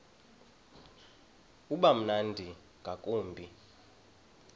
uba mnandi ngakumbi